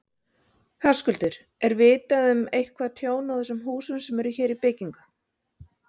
Höskuldur: Er vitað um eitthvað tjón á þessum húsum sem eru hér í byggingu?